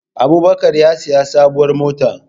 Abubakar ya sayi sabuwar mota